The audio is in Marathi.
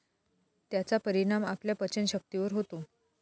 त्याचा परिणाम आपल्या पचनशक्तीवर होतो.